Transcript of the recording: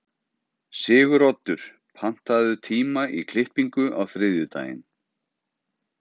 Siguroddur, pantaðu tíma í klippingu á þriðjudaginn.